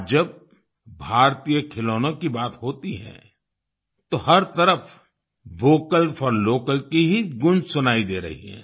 आज जब भारतीय खिलौनों की बात होती है तो हर तरफ वोकल फोर लोकल की ही गूंज सुनाई दे रही है